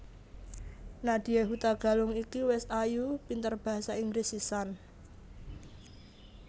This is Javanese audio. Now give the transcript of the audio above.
Nadya Hutagalung iki wes ayu pinter bahasa Inggris sisan